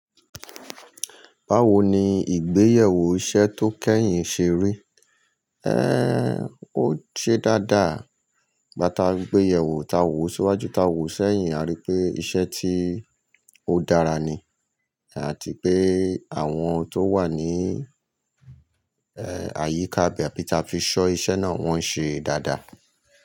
Báwo ni ìgbéyàwó iṣẹ́ tó kẹ́yìn ṣe rí? Ẹ́, ó ṣe dáadáa. Igbá ti a gbéyewo, ta wo síwájú, ta wò sẹ́yìn, a rí pé iṣẹ́ ti ó dára ni àti pé àwọn tó wà ní, ẹ́, àyíká ibe ta fi ṣọ́ iṣẹ́ náà, wọ́n ń ṣe dáadáa.